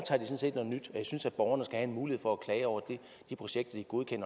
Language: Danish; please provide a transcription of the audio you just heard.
jeg synes at borgerne skal have mulighed for at klage over de projekter